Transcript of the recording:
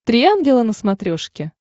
три ангела на смотрешке